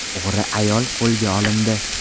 O‘g‘ri ayol qo‘lga olindi.